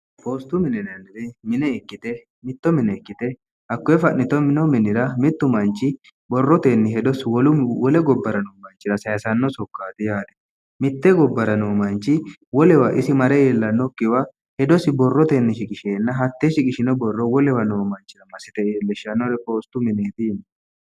poostu mininennire mine ikkite mitto mine ikkite hakkoye fa'nito mino minira mittu manchi borrotenni hedoi wole gobbara noo manchira sayisanno sokkaati yaare mitte gobbara noo manchi wolewa isi mare iillannokkiwa hedosi borrotenni shiqisheenna hattee shiqishino borro wolewa noo manchira ma site iillishshannore poostu mineeti